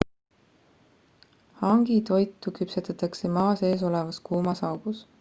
hangi toitu küpsetatakse maa sees olevas kuumas augus